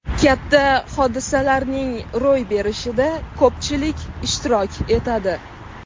Katta hodisalarning ro‘y berishida ko‘pchilik ishtirok etadi.